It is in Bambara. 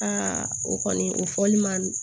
Aa o kɔni o fɔli man nɔgɔn